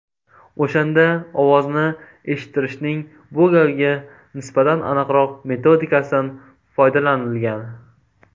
O‘shanda ovozni eshittirishning bu galgi nisbatan aniqroq metodikasidan foydalanilgan.